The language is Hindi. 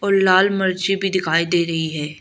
लाल मिर्ची भी दिखाई दे रही है।